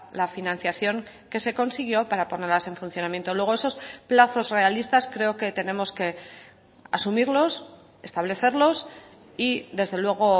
la financiación que se consiguió para ponerlas en funcionamiento luego esos plazos realistas creo que tenemos que asumirlos establecerlos y desde luego